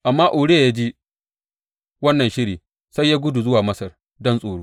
Amma Uriya ya ji wannan shiri sai ya gudu zuwa Masar don tsoro.